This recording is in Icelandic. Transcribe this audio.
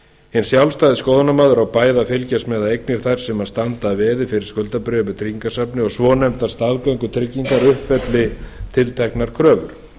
hinn sjálfstæði skoðunarmaður á bæði að fylgjast með að eignir þær sem standa að veði fyrir skuldabréfum í tryggingasafni og svonefndar staðgöngutryggingar uppfylli tilteknar kröfur